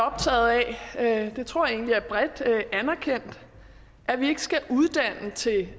optaget af det tror jeg egentlig er bredt anerkendt at vi ikke skal uddanne til